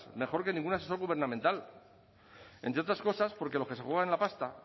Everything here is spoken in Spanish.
mejor que ningún asesor gubernamental entre otras cosas porque los que se juegan la pasta